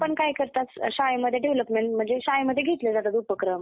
काय करतात शाळेमध्ये development म्हणजे शाळेमध्ये घेतले जातात उपक्रम.